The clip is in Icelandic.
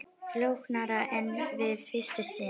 Flóknara en við fyrstu sýn